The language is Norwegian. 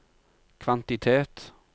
kvantitet